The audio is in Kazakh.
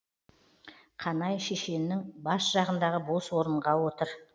қанай шешеннің бас жағындағы бос орынға отыр